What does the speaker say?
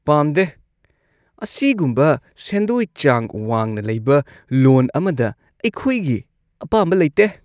ꯄꯥꯝꯗꯦ! ꯑꯁꯤꯒꯨꯝꯕ ꯁꯦꯟꯗꯣꯏ ꯆꯥꯡ ꯋꯥꯡꯅ ꯂꯩꯕ ꯂꯣꯟ ꯑꯃꯗ ꯑꯩꯈꯣꯏꯒꯤ ꯑꯄꯥꯝꯕ ꯂꯩꯇꯦ꯫